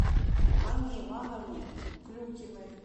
анне ивановне клюкиной